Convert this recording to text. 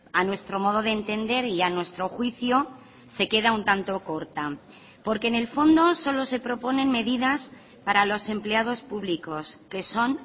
a nuestro modo de entender y a nuestro juicio se queda un tanto corta porque en el fondo solo se proponen medidas para los empleados públicos que son